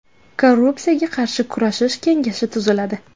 Korrupsiyaga qarshi kurashish kengashi tuziladi.